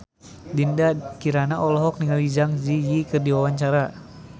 Dinda Kirana olohok ningali Zang Zi Yi keur diwawancara